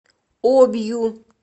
обью